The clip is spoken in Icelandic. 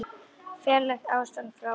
Ferlegt ástand hjá honum.